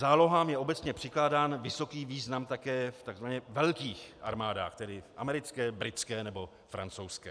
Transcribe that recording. Zálohám je obecně přikládán vysoký význam také v takzvaně velkých armádách, tedy v americké, britské nebo francouzské.